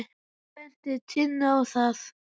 Hann benti Tinnu á það.